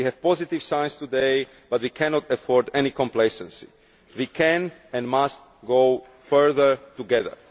We see positive signs today but we cannot afford any complacency. We can and must go further together.